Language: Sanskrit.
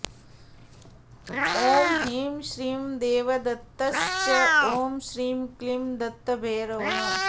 ॐ ह्रीं श्रीं देवदत्तश्च ॐ श्रीं क्लीं दत्तभैरवः